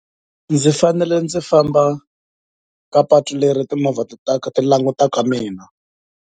Ndzi fanele ndzi famba ka patu leri timovha ti ti langutaka mina.